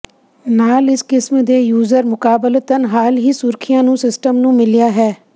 ਨਾਲ ਇਸ ਕਿਸਮ ਦੇ ਯੂਜ਼ਰ ਮੁਕਾਬਲਤਨ ਹਾਲ ਹੀ ਸੁਰੱਖਿਆ ਨੂੰ ਸਿਸਟਮ ਨੂੰ ਮਿਲਿਆ ਹੈ